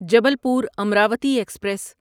Jabalpur Amravati express